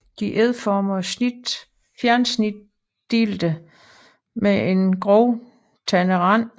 De er ægformede og fjersnitdelte med en groft tandet rand